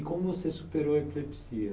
E como você superou a epilepsia?